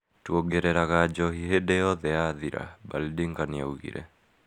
Twongereraga njohi hĩndi yothe yathira, Baldinger nĩaugire